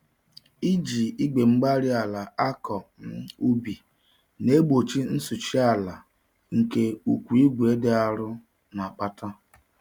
Iji Igwe-mgbárí-ala nakọ um ubi na-egbochi nsụchi-ala nke ụkwụ igwe dị arọ na-akpata.